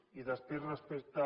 i després respecte